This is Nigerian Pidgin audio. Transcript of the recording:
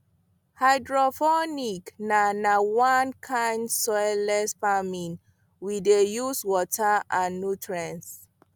hydroponics na na one kind soilless farming wey dey use water and nutrients